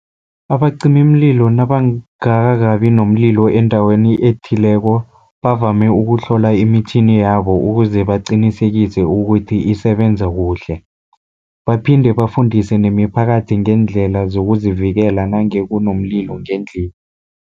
Abacimimlilo nabangakakabi nomlilo endaweni ethileko, bavame ukuhlola imitjhini yabo ukuze baqinisekise ukuthi isebenza kuhle, baphinde bafundise nemiphakathi ngeendlela zokuzivikela, nange kunomlilo ngendlini.